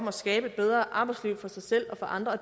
at skabe et bedre arbejdsliv for sig selv og for andre og